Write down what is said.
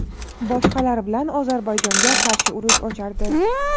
boshqalar bilan Ozarbayjonga qarshi urush ochardi.